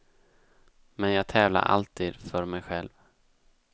Men jag tävlar alltid för mig själv.